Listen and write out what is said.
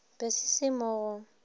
be se se mo go